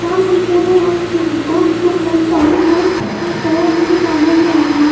चार पंखे हैं और दो ट्यूबलाइट चालू है और सो वाले भी चालू है लाइट वहां --